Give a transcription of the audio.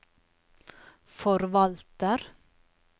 forvalter